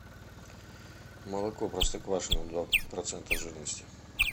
молоко простоквашино два процента жирности